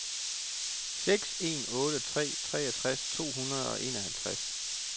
seks en otte tre treogtres to hundrede og enoghalvtreds